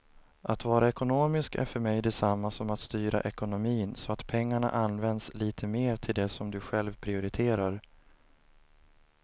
Att vara ekonomisk är för mig detsamma som att styra ekonomin så att pengarna används lite mer till det som du själv prioriterar.